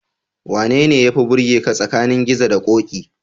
Wanene yafi burgaka tsakanin Gizo da Ƙoƙi?